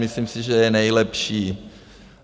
Myslím si, že je nejlepší.